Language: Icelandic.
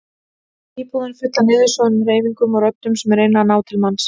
Íbúðin full af niðursoðnum hreyfingum og röddum sem reyna að ná til manns.